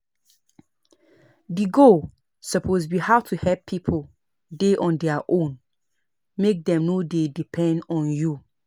Person fit share things like their skills, instead of money or material things